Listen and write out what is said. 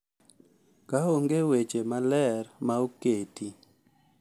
Ka onge weche maler ma oketi,